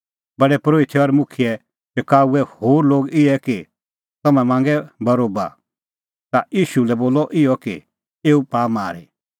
प्रधान परोहितै और मुखियै होर लोग इहै शकाऊऐ कि तम्हैं मांगै बरोबा और ईशू लै बोलै इहअ कि एऊ पाआ मारी